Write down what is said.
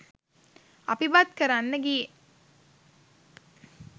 අපි බත් කරන්න ගියේ